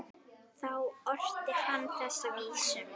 Þá orti hann þessa vísu